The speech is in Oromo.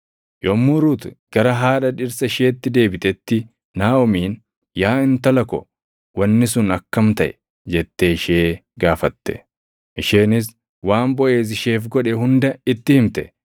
Yommuu Ruut gara haadha dhirsa isheetti deebitetti Naaʼomiin, “Yaa intala ko, wanni sun akkam taʼe?” jettee ishee gaafatte. Isheenis waan Boʼeez isheef godhe hunda itti himte;